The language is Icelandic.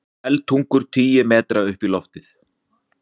Eldtungur tugi metra upp í loft